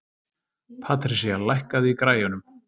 Patrisía, lækkaðu í græjunum.